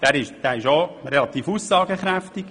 Dieser ist relativ aussagekräftig.